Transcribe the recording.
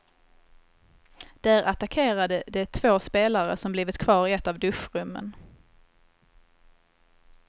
Där attackerade de två spelare som blivit kvar i ett av duschrummen.